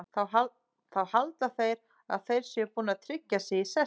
Þá halda þeir að þeir séu búnir að tryggja sig í sessi.